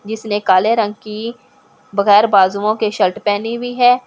जिसने काले रंग की बगैर बाजुओं की शर्ट पहनी हुई है का।